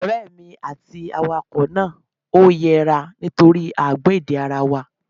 Ọ̀rọ̀ èmi àti awakọ̀ náà ò yéra nítorí a ò gbọ́ èdè ara wa